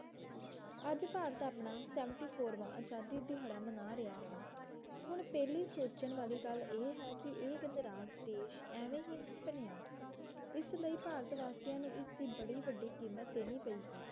ਅੱਜ ਭਾਰਤ ਆਪਣਾ ਸੇਵਨਟੀ ਫੋਰਵਾਂ ਆਜ਼ਾਦੀ ਦਿਹਾੜਾ ਮਨਾ ਰਿਹਾ ਹੈ ਹੁਣ ਪਹਿਲੀ ਸੋਚਣ ਵਾਲੀ ਗੱਲ ਇਹ ਹੈ ਕਿ ਇਹ ਗਣਰਾਜ ਦੇਸ਼ ਐਵੇਂ ਹੀ ਨਹੀਂ ਬਣਿਆ ਇਸਲਈ ਭਾਰਤ ਵਾਸੀਆਂ ਨੂੰ ਇਸਦੀ ਬੜੀ ਵੱਢੀ ਕੀਮਤ ਦੇਣੀ ਪਈ ਹੈ